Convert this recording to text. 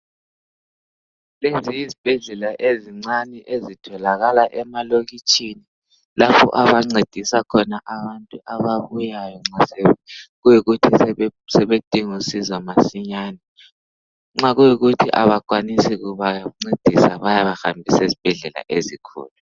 Lezi yezibhedlela ezincane ezitholakala emalokitshini lapha abancedisa khona abantu ababuyayo nxa sekuyikuthi sebedinga usizo masinyane nxa kuyikuthi abakwanisi ukubancedisa bayabahambisa ezibhedlela ezinkulu.